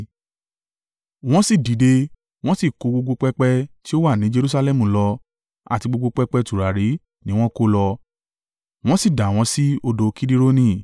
Wọ́n sì dìde, wọ́n sì kó gbogbo pẹpẹ tí ó wà ní Jerusalẹmu lọ, àti gbogbo pẹpẹ tùràrí ni wọ́n kó lọ, wọ́n sì dà wọ́n sí odò Kidironi.